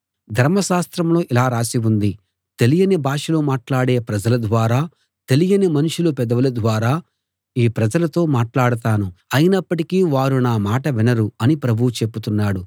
ధర్మశాస్త్రంలో ఇలా రాసి ఉంది తెలియని భాషలు మాట్లాడే ప్రజల ద్వారా తెలియని మనుషుల పెదవుల ద్వారా ఈ ప్రజలతో మాట్లాడతాను అయినప్పటికీ వారు నా మాట వినరు అని ప్రభువు చెబుతున్నాడు